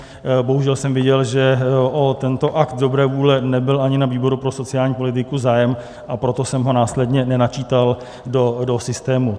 Bohužel jsem viděl, že o tento akt dobré vůle nebyl ani na výboru pro sociální politiku zájem, a proto jsem ho následně nenačítal do systému.